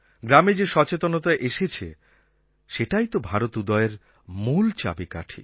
গ্রামে যে সচেতনতা এসেছে সেটাই তো ভারত উদয়ের মূল চাবিকাঠি